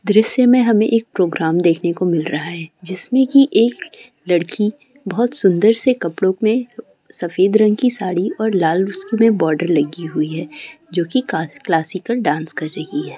दृश्य मे हमे एक प्रोग्राम देखने को मिल रहा है जिसमे की एक लड़की बहुत सुन्दर से कपड़ो मे सफेद रंग की साड़ी और लाल कलर उसमे बार्डर लगी हुई है जो की क्लास--क्लासिकल डांस कर रही है।